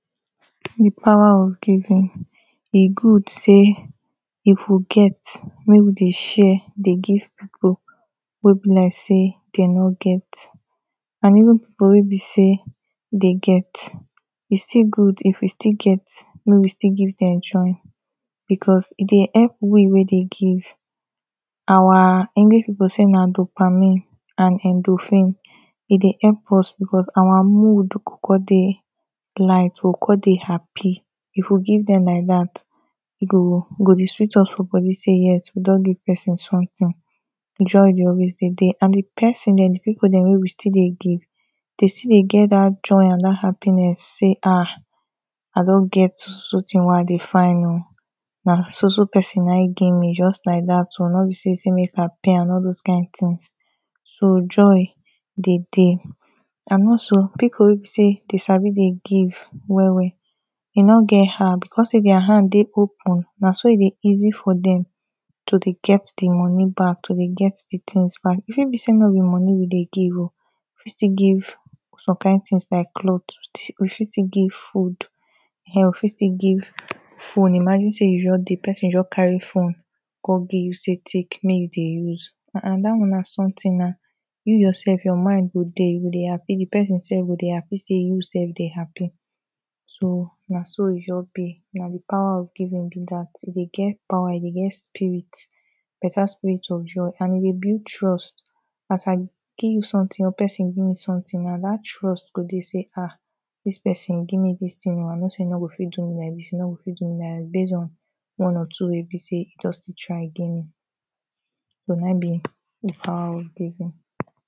the power of giving e good say if we get make we de share de give people wey be like say they no get and even people wey be say they get e still good if we still get make we still give them join because e de help we wey de give our english people say na dopamine and endorphin e de help us because our mood go come de lite, we go come de happy if you give them like that e go, go de sweet us for body say yes we don de give person something joy de always de there and the president, people de wey still de give they still de get that joy and that happiness say hah! i don get so so thing wey i de find o na so so person na ehm get me just like that o, no be say, say make i pay am all those kind things so joy de deh and more so, people wey be say de sabi de give well well they no get heart because say thier heart de open na so e de easy for them to de get the money back, to the get the things back even if say no be money we de give o we still give some kind things like cloth, we fit still give food, eh you fit still give phone, imagine say you just de person just carry phone come give you say take, make you de use ah ah that one na something na you yourself your mind go de, you go de happy, de person self go de happy say you self de happy so na so e just be, na the power of giving be that e de get power e de get spirit better spirit of joy and e dey build trust i can give you something or person give me something na that trust go de say ah! this person give me this thing o, i no say e no go fit do me like this e no go fit do me like that base on one or two wey be say just de try give me. so na ehm be the power of giving.